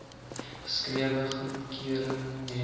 geskrewe goedkeuring hê